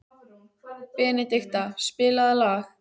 Benedikta, spilaðu lag.